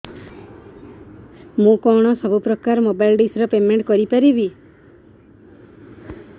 ମୁ କଣ ସବୁ ପ୍ରକାର ର ମୋବାଇଲ୍ ଡିସ୍ ର ପେମେଣ୍ଟ କରି ପାରିବି